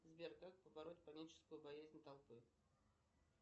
сбер как побороть паническую боязнь толпы